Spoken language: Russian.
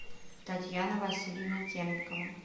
татьяна васильевна темникова